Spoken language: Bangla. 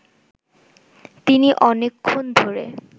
তিনি অনেকক্ষণ ধরে